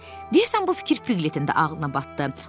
Deyəsən bu fikir Piqletin də ağlına batdı.